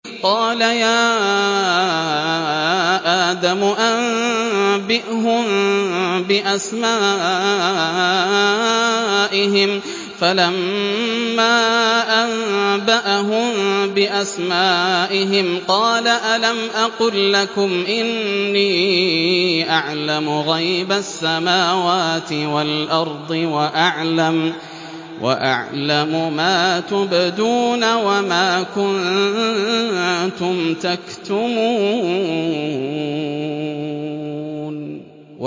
قَالَ يَا آدَمُ أَنبِئْهُم بِأَسْمَائِهِمْ ۖ فَلَمَّا أَنبَأَهُم بِأَسْمَائِهِمْ قَالَ أَلَمْ أَقُل لَّكُمْ إِنِّي أَعْلَمُ غَيْبَ السَّمَاوَاتِ وَالْأَرْضِ وَأَعْلَمُ مَا تُبْدُونَ وَمَا كُنتُمْ تَكْتُمُونَ